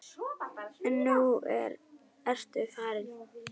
En nú ertu farin.